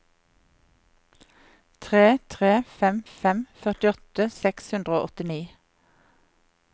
tre tre fem fem førtiåtte seks hundre og åttini